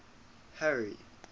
harry